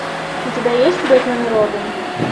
у тебя есть бэтмен и робин